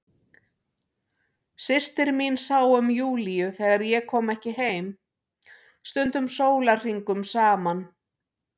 Systir mín sá um Júlíu þegar ég kom ekki heim, stundum sólarhringum saman.